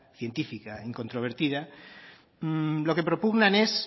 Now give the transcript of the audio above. científica e incontrovertida lo que propugnan es